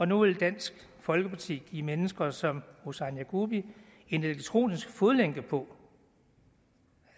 nu vil dansk folkeparti give mennesker som husain yagubi en elektronisk fodlænke på